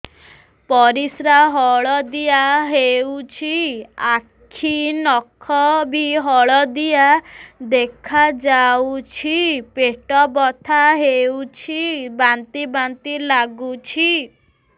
ପରିସ୍ରା ହଳଦିଆ ହେଉଛି ଆଖି ନଖ ବି ହଳଦିଆ ଦେଖାଯାଉଛି ପେଟ ବଥା ହେଉଛି ବାନ୍ତି ବାନ୍ତି ଲାଗୁଛି